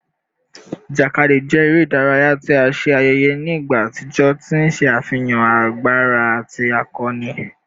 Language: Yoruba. Ijakadi jẹ ere idaraya ti a ṣe ayẹyẹ ni igba atijọ, ti n ṣe afihan agbara ati akọni